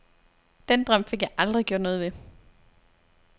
Den drøm fik jeg aldrig gjort noget ved.